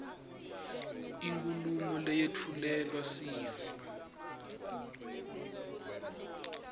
inkhulumo leyetfulelwa sive